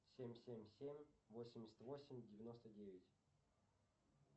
семь семь семь восемьдесят восемь девяносто девять